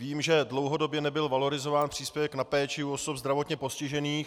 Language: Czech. Vím, že dlouhodobě nebyl valorizován příspěvek na péči u osob zdravotně postižených.